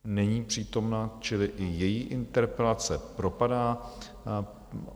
Není přítomna, čili i její interpelace propadá.